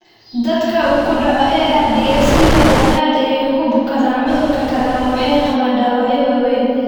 Dadka uu ku dhaco ARDS inta badan aad ayey ugu bukoodaan cudur kale ama waxay qabaan dhaawacyo waaweyn.